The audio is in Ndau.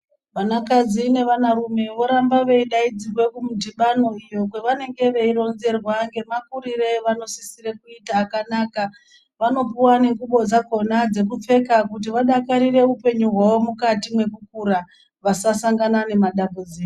Vanakadzi nevanarume voramba veidaidzirwe kumudhibano iyo kwevanenge veironzerwa ngemakurire avanosisire kuita akanaka. Vanopuva nengubo dzakona dzekupfeka kuti vadakarire upenyu hwavo mukati mwekukura vasasangana nemadambudziko.